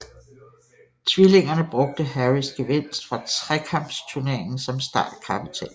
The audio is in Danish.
Tvillingerne brugte Harrys gevinst fra Trekampsturneringen som startkapital